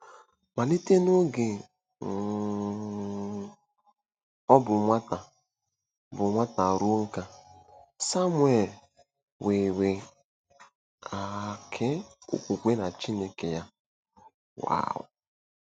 Malite n'oge um ọ bụ nwata bụ nwata ruo nká, Samuel nwere um okwukwe na Chineke ya. um